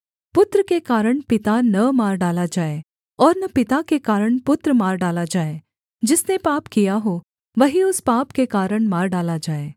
पुत्र के कारण पिता न मार डाला जाए और न पिता के कारण पुत्र मार डाला जाए जिसने पाप किया हो वही उस पाप के कारण मार डाला जाए